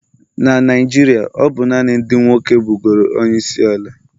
Na Naijiria, ọ bụ naanị ndị nwoke bụgoro onyeisiala